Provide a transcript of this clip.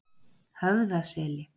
Höfðaseli